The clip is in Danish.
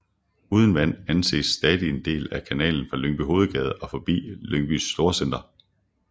Uden vand anes stadig en del af kanalen fra Lyngby Hovedgade og forbi Lyngby Storcenter